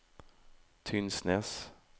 Tysnes